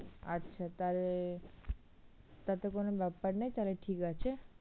আচ্ছা তাহলে, তাহলে তো কোনো ব্যাপার নেই তাহলে ঠিক আছে।